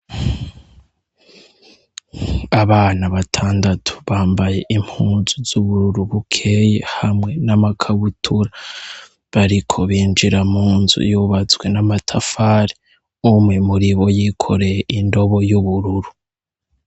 Abana batandatatu bambaye impuzu zubururu bukeye hamwe n'amakabutura; bariko binjira munzu yubatse n'amatafari, umwe muribo yikoreye indobo y'ubururu.